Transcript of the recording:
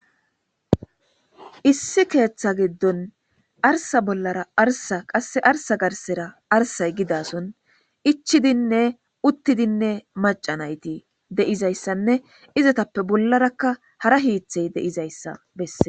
Issi keeththa giddon arsa bollara arsa qasse arsa garsera arsay gidason ichidinne uttidinne macanayti deizayssanne izatappe bollarakka hara hiithey deizayssa besse.